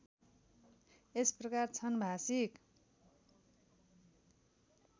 यसप्रकार छन् भाषिक